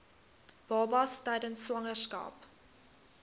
babas tydens swangerskap